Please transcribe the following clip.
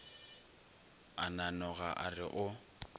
a nanoga a re o